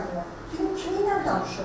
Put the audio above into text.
Soruşdum ki, kiminlə danışırdı?